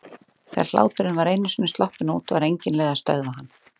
Þegar hláturinn var einu sinni sloppinn út var engin leið að stöðva hann.